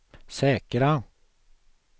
säkra